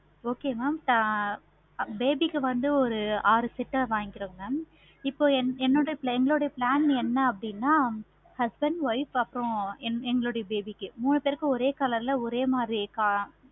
okay mam baby க்கு வந்து ஒரு ஆறு set வாங்கிறோம். mam இப்போ என்னுடைய plan என்ன அப்படின்னா? husband, wife அப்பறம் எங்களுடைய baby க்கு மூணு பேருக்கும் ஒரே color ல ஒரே மாதிரி